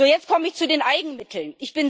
Jetzt komme ich zu den Eigenmitteln.